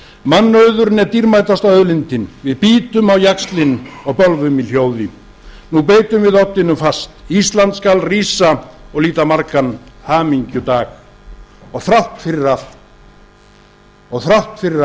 mannauðurinn er dýrmætasta auðlindin við bítum á jaxlinn og bölvum í hljóði nú beitum við oddinum fast ísland skal rísa og líta margan hamingjudag og þrátt fyrir allt og þrátt fyrir